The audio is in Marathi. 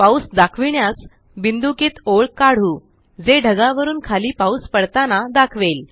पाऊस दाखविण्यास बिन्दुकित ओळ काढू जे ढगावरून खाली पाऊस पडताना दाखवेल